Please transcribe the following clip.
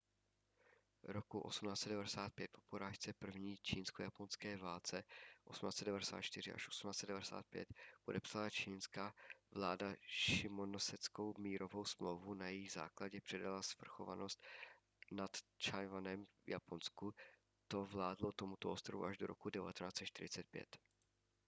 roku 1895 po porážce v první čínsko-japonské válce 1894–1895 podepsala čchingská vláda šimonoseckou mírovou smlouvu na jejímž základě předala svrchovanost nad tchaj-wanem japonsku. to vládlo tomuto ostrovu až do roku 1945